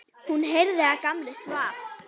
Hún heyrði að Gamli svaf.